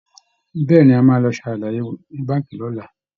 Bẹ́ẹ̀ ni, a máa lọ ṣàlàyé ní Báǹkì lọ́la